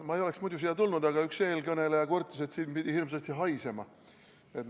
Ma ei oleks muidu siia tulnud, aga üks eelkõneleja kurtis, et siin pidi hirmsasti haisema.